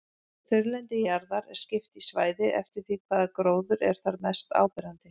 Þurrlendi jarðar er skipt í svæði eftir því hvaða gróður er þar mest áberandi.